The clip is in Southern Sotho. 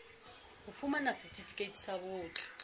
ho fumana setifikeiti sa botho